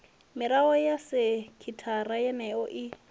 mirao ya sekithara yeneyo i